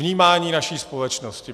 Vnímání naší společnosti.